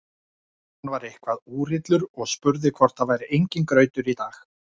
Hann dregur hana nær sér og þau innsigla sáttmálann með mörgum kossum.